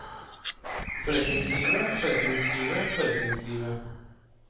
forretningslivet forretningslivet forretningslivet